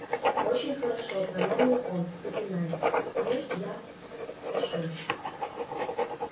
очень хорошо промямлил он запинаясь ну я пошёл